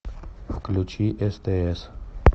включи стс